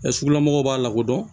sugula mɔgɔw b'a lakodɔn